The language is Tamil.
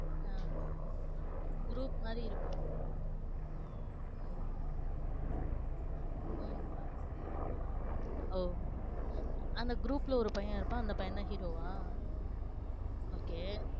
அஹ் group மாறி இருப்பாங்க. உம் உம் ஓ அந்த group ல ஒரு பையன் இருப்பான். அந்த பையன் தான் hero வா? okay